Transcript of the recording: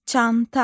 Çanta.